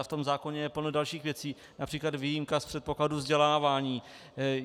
A v tom zákoně je plno dalších věcí, například výjimka z předpokladu vzdělávání.